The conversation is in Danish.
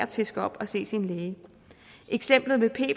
til skal op og se sin læge eksemplet med p